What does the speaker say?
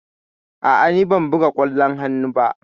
A'a, ni ban buga ƙwallon hannu ba.